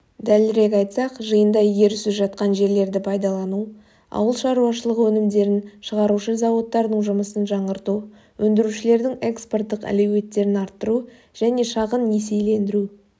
дәлірек айтсақ жиында игерусіз жатқан жерлерді пайдалану ауыл шарушылығы өнімдерін шығарушы зауыттардың жұмысын жаңғырту өндірушілердің экспорттық әлеуеттерін арттыру және шағын несиелендіру